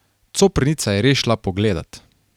Coprnica je res šla pogledat.